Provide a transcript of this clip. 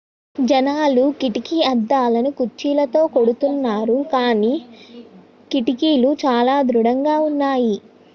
జనాలు కిటికీ అద్దాలను కుర్చీలతో కొడుతున్నారు కానీ కిటికీలు చాలా దృఢంగా ఉన్నాయి